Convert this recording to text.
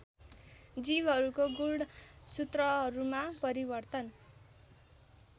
जीवहरूको गुणसूत्रहरूमा परिवर्तन